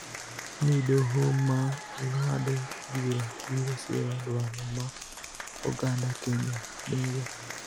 ni doho ma ng�ado bura biro siro dwaro ma oganda Kenya nigo.